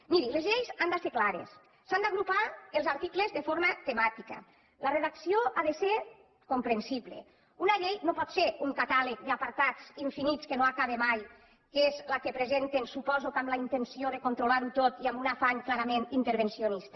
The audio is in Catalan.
miri les lleis han de ser clares s’han d’agrupar els articles de forma temàtica la redacció ha de ser comprensible una llei no pot ser un catàleg d’apartats infinits que no acaba mai que és la que presenten suposo que amb la intenció de controlar ho tot i amb un afany clarament intervencionista